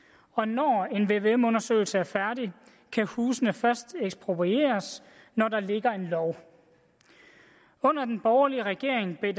og når en vvm undersøgelse er færdig kan husene først eksproprieres når der ligger en lov under den borgerlige regering blev